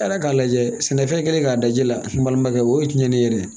E yɛrɛ k'a lajɛ sɛnɛfɛn kɛlen k'a da ji la balimakɛ o ye tiɲɛlen yɛrɛ ye